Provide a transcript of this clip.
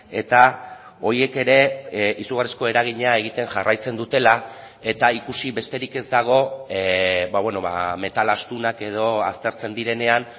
eta horiek ere izugarrizko eragina egiten jarraitzen dutela eta ikusi besterik ez dago metal astunak edo aztertzen direnean